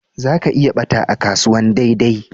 Za ki iya ɓata a kasuwan daidai